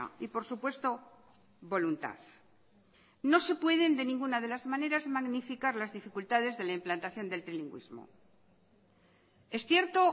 y por supuesto voluntad no se pueden de ninguna de las maneras magnificar las dificultades de la implantación del trilingüismo es cierto